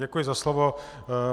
Děkuji za slovo.